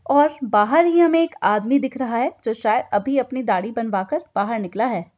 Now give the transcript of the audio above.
और बाहर ही हमें एक आदमी दिख रहा है जो शायद अभी अपनी दाढ़ी बनवा कर बहार निकला है।